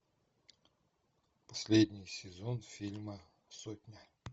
последний сезон фильма сотня